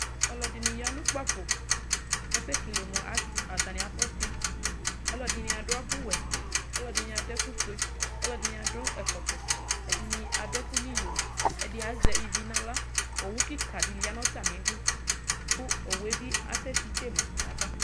Ɔlɔdini yanʋ ʋkpafo asɛkele mʋ atami afɔti ɔlɔdini adʋ ɛkʋwɛ ɔlɔdini adʋ ɛkʋfue ɔlɔdini adʋ ɛkɔtɔ ɛdini adʋ ɛkʋ nʋ iyo ɛdi azɛ ivi nʋ aɣla owʋ kika diya nʋ atami idʋ kʋ owʋbi asɛtitse ma yaba